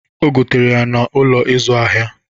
Ogetere ya n'Ụlọ ịzụ ahịa.